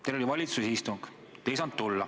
Teil oli valitsuse istung, te ei saanud tulla.